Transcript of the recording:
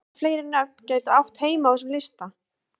Hvaða fleiri nöfn gætu átt heima á þessum lista?